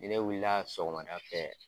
Ni ne wulila sɔgɔmada fɛ.